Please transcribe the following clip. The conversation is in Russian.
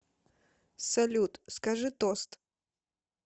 салют скажи тост